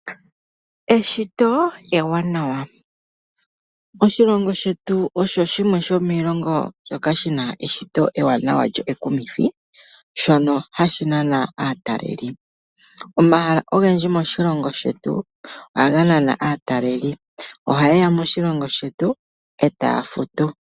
Eshito ewanawa, oshilongo shetu osho shimwe shomiilongo mbyoka shina eshito ewanawa lyo ekumithi, shono hashi nana aatalelipo. Omahala ogendji moshilongo shetu ohaga nana aatalelipo. Ohaye ya moshilongo shetu etaa futu.